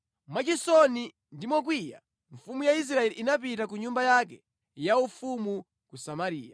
Mwachisoni ndi mokwiya, mfumu ya Israeli inapita ku nyumba yake yaufumu ku Samariya.